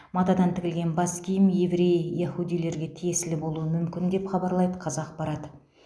матадан тігілген бас киім еврей яхудилерге тиесілі болуы мүмкін деп хабарлайды қазақпарат